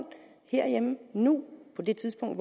nu på det tidspunkt